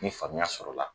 Ni faamuya sɔrɔla la